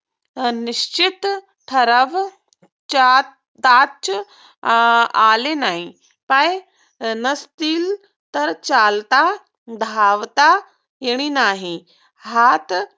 निश्चित ठरव ताच आले नाही. पाय नसतील तर चालता धावता येणे नाही. हात